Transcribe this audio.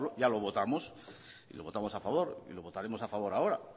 ya lo votamos y lo votamos a favor y lo votaremos a favor ahora